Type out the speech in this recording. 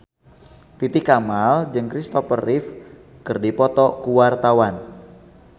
Titi Kamal jeung Kristopher Reeve keur dipoto ku wartawan